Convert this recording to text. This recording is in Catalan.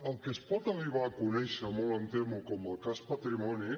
el que es pot arribar a conèixer molt em temo com el cas patrimoni